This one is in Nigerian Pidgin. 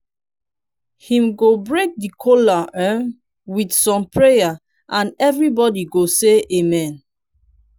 him go break di kola um with som prayers and evribody go say amen